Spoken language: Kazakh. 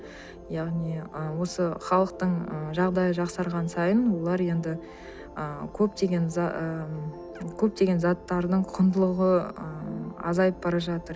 яғни ы осы халықтың ы жағдайы жақсарған сайын олар енді ы көптеген ы көптеген заттардың құндылығы ы азайып бара жатыр